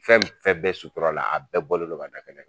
Fɛn fɛn bɛɛ sutura la a bɛɛ bɔlen do ka da kɛnɛ kan